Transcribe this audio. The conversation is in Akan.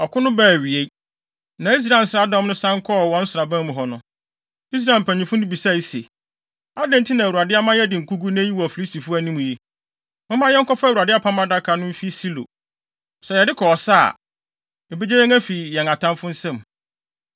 Ɔko no baa awiei, na Israel nsraadɔm no san kɔɔ wɔn nsraban mu hɔ no, Israel mpanyimfo no bisae se, “Adɛn nti na Awurade ama yɛadi nkogu nnɛ yi wɔ Filistifo anim yi? Momma yɛnkɔfa Awurade Apam Adaka no mfi Silo. Sɛ yɛde kɔ ɔsa a, ebegye yɛn afi yɛn atamfo nsam.”